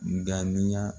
Ŋaniya